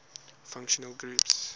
functional groups